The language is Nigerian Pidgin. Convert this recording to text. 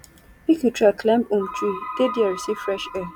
if you try climb um tree dey there receive fresh air